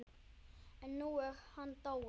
En nú er hann dáinn.